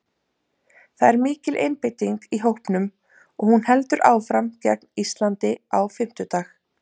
Það er mikil einbeiting í hópnum og hún heldur áfram gegn Íslandi á fimmtudag.